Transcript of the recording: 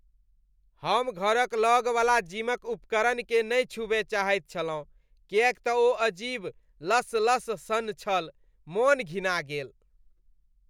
हम घरक लगवला जिमक उपकरणकेँ नहि छूबय चाहैत छलहुँ किएक तँ ओ अजीब लसलस सन छल, मन घिना गेल।